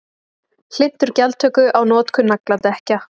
Hlynntur gjaldtöku á notkun nagladekkja